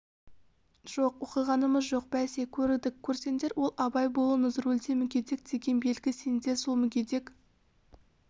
жоқ оқығанымыз жоқ бәсе көрдік көрсеңдер ол абай болыңыз рульде мүгедек деген белгі сендер сол мүгедек